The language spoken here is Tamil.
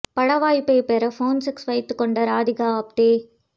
பட வாய்ப்பை பெற போன் செக்ஸ் வைத்துக் கொண்ட ராதிகா ஆப்தே